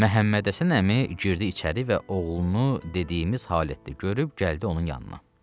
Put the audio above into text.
Məhəmmədhəsən əmi girdi içəri və oğlunu dediyimiz halətdə görüb gəldi onun yanına.